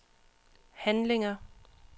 handlinger